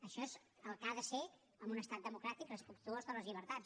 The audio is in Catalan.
això és el que ha de ser en un estat democràtic respectuós de les llibertats